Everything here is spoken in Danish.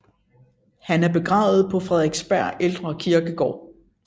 Han er begravet på Frederiksberg Ældre Kirkegård